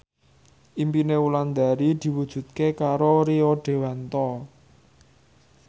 impine Wulandari diwujudke karo Rio Dewanto